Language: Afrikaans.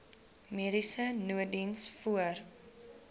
mediese nooddiens voor